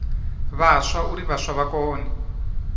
vhaswa uri vhaswa vha kone